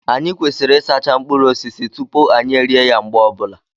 Anyị kwesịrị ịsacha mkpụrụ osisi tupu anyị erie ya mgbe ọbụla